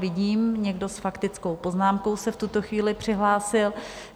Vidím, někdo s faktickou poznámkou se v tuto chvíli přihlásil.